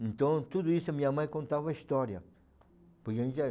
Então, tudo isso a minha mãe contava a história.